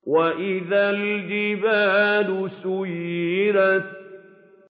وَإِذَا الْجِبَالُ سُيِّرَتْ